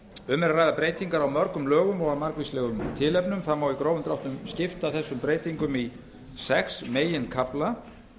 um er að ræða breytingar á mörgum lögum og af margvíslegu tilefni það má í grófum dráttum skipta þessum breytingum í sex meginkafla